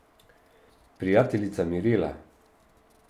Prijateljica Mirela.